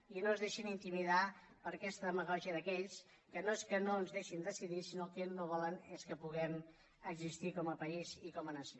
i no es deixin intimidar per aquesta demagògia d’aquells que no és que no ens deixin decidir sinó que el que no volen és que puguem existir com a país i com a nació